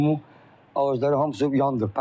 Bu il limon ağacları hamısı yandı.